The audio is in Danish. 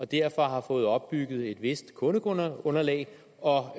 derfor har fået opbygget et vist kundeunderlag og